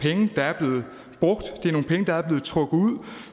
penge der er blevet trukket ud